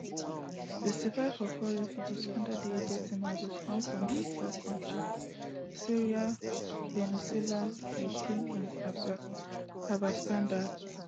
sixty-five of all refugees under di agency mandate come from just four kontris syria venezuela ukraine and afghanistan